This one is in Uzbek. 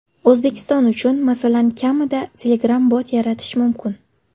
O‘zbekiston uchun, masalan, kamida Telegram-bot yaratish mumkin.